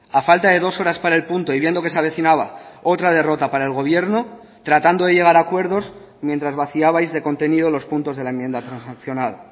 a falta de dos horas para el punto y viendo que se avecinaba otra derrota para el gobierno tratando de llegar a acuerdos mientras vaciabais de contenido los puntos de la enmienda transaccionada